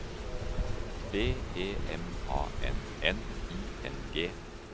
B E M A N N I N G